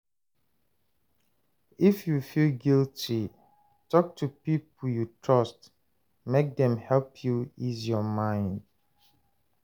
If yu feel guilty, talk to pipo yu trust mek dem help yu ease yur mind